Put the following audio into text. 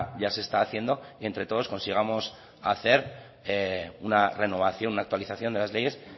ya se está haciendo y entre todos consigamos hacer una renovación una actualización de las leyes